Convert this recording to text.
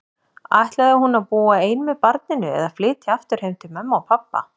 Ætlaði hún að búa ein með barninu, eða flytja aftur heim til mömmu og pabba?